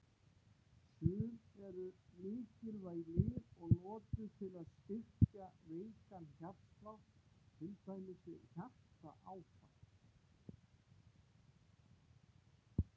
Sum eru mikilvæg lyf og notuð til að styrkja veikan hjartslátt, til dæmis við hjartaáfall.